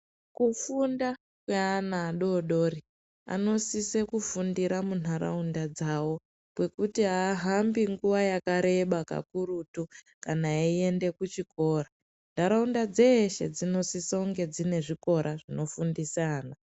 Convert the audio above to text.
Kufunda kweana adodori anosise kufundira munharaunda dzavo kwekuti haahambi nguwa yakareba kakurutu kana eiende kuchikora. Ntaraunda dzeshe dzinosisa kunge dzine zvikora zvinofundisa ana.